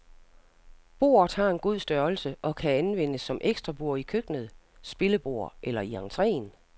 Bordet har en god størrelse og kan anvendes som ekstra bord i køkkenet, spillebord eller i entreen.